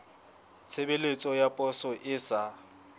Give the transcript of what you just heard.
tshebeletso ya poso e sa